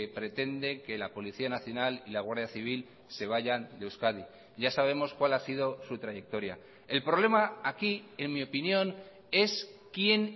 pretende que la policía nacional y la guardia civil se vayan de euskadi ya sabemos cuál ha sido su trayectoria el problema aquí en mi opinión es quién